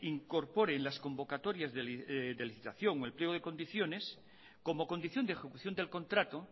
incorpore en las convocatorias de licitación o el pliego de condiciones como condición de ejecución del contrato